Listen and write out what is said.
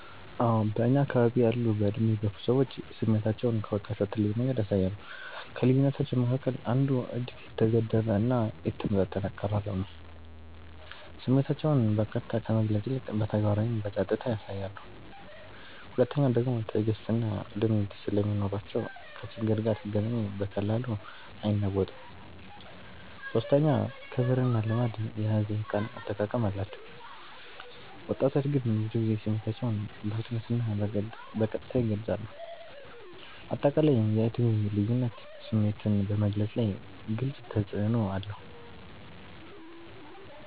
አዎ በእኛ አከባቢ ያሉ በዕድሜ የገፉ ሰዎች ስሜታቸውን ከወጣቶች በተለየ መንገድ ያሳያሉ። ከልዩነታቸዉ መካከል አንዱ እጅግ የተገደበ እና የተመጣጠነ አቀራረብ ነው፤ ስሜታቸውን በቀጥታ ከመግለጽ ይልቅ በተግባር ወይም በጸጥታ ያሳያሉ። ሁለተኛዉ ደግሞ ትዕግስትና ልምድ ስለሚኖራቸው ከችግር ጋር ሲገናኙ በቀላሉ አይናወጡም። ሶስተኛ ክብርና ልማድ የያዘ የቃል አጠቃቀም አላቸው፤ ወጣቶች ግን ብዙ ጊዜ ስሜታቸውን በፍጥነትና በቀጥታ ይገልጻሉ። አጠቃላይ የዕድሜ ልዩነት ስሜትን በመግለፅ ላይ ግልጽ ተፅዕኖ አለው።